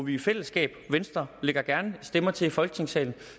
i fællesskab venstre lægger gerne stemmer til i folketingssalen